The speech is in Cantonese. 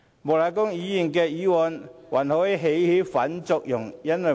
莫乃光議員的議案還可能起反作用。